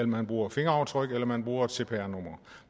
man bruger fingeraftryk eller man bruger et cpr nummer